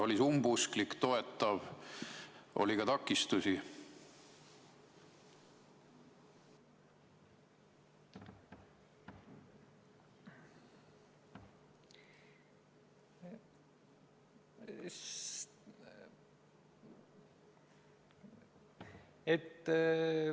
Oli see umbusklik või toetav või oli ka takistusi?